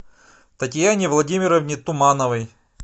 татьяне владимировне тумановой